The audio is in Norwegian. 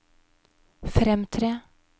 fremtre